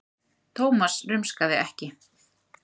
Thomas rumskaði ekki.